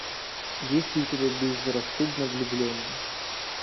есть ли у тебя безрассудно влюбленные